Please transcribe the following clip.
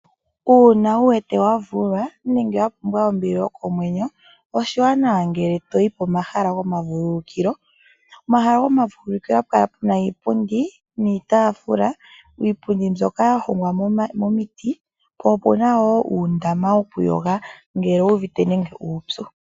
Uuna wu wete wavulwa nenge wapumbwa ombili yokomwenyo oshiwanawa ngele toyi pomahala gomavululukilo. Omahala gomavululukilo ohapu kala puna iipundi niitafula. Iipundi mbyoka yagwayeka omiti po opena uundama wokuyoga ngele owu uvite uupyu.